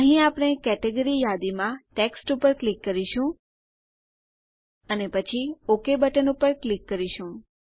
અહીં આપણે કેટેગરી યાદીમાં ટેક્સ્ટ ઉપર ક્લિક કરીશું અને પછી ઓક બટન ઉપર ક્લિક કરીશું